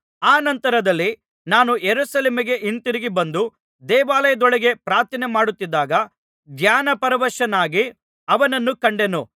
ಅನಂತರದಲ್ಲಿ ನಾನು ಯೆರೂಸಲೇಮಿಗೆ ಹಿಂತಿರುಗಿ ಬಂದು ದೇವಾಲಯದೊಳಗೆ ಪ್ರಾರ್ಥನೆಮಾಡುತ್ತಿದ್ದಾಗ ಧ್ಯಾನಪರವಶನಾಗಿ ಅವನನ್ನು ಕಂಡೆನು